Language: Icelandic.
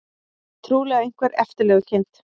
Trúlega einhver eftirlegukind.